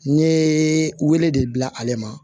N ye wele de bila ale ma